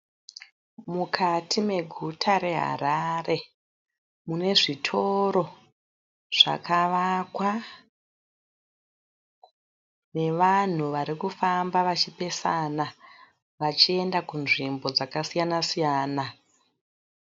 Mukati mafuta reHarare, munezvitoro zvakavakwa, nevanhu varikufamba vachipesana vachienda kunzvimbo dzakasiyana siyana.